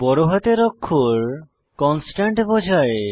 বড় হাতের অক্ষর কনস্ট্যান্ট বোঝায়